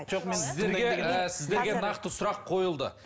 сіздерге нақты сұрақ қойылды